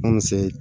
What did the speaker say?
Anw fɛ